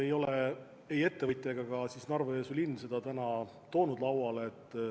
Ja pole ei ettevõtja ega ka Narva-Jõesuu linn seda lauale toonud.